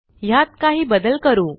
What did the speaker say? ह्यात काही बदल करू